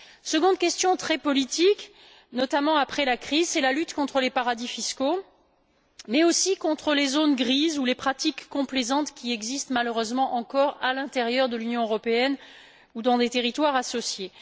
Deuxième question très politique, notamment après la crise la lutte contre les paradis fiscaux, mais aussi contre les zones grises ou les pratiques complaisantes qui existent, encore, malheureusement à l'intérieur de l'Union européenne ou dans des territoires associés.